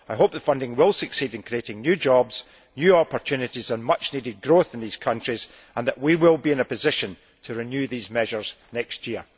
I hope the funding will succeed in creating new jobs, new opportunities and much needed growth in these countries, and that we will be in a position to renew these measures next year.